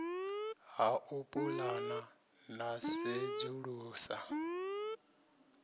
ha u pulana na sedzulusa